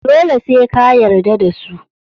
dole se ka yarda dasu